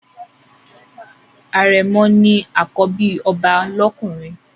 Àrẹ̀mọ̀ ni àkọ́bí ọba lọ́kùnrin.